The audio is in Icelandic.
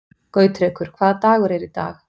Gautrekur, hvaða dagur er í dag?